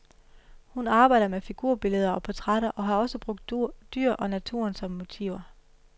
Hun arbejder med figurbilleder og portrætter og har også brugt dyr og naturen som motiver.